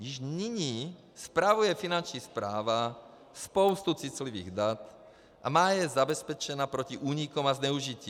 Již nyní spravuje Finanční správa spoustu citlivých dat a má je zabezpečena proti úniku a zneužití.